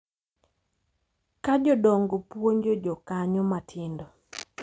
Ka jodongo puonjo jokanyo matindo